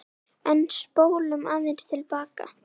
En spólum aðeins til baka.